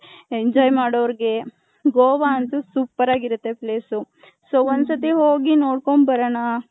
enjoy ಮಾಡೋರ್ಗೆ.ಗೋವ ಅಂತು super ಆಗಿರುತ್ತೆ place ಊ so ಒಂದ್ ಸತ್ಹೋ ಹೋಗಿ ನೋಡ್ಕೊಂಡ್ ಬರೋಣ .